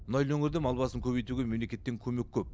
мұнайлы өңірде мал басын көбейтуге мемлекеттен көмек көп